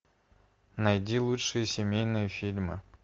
найди лучшие семейные фильмы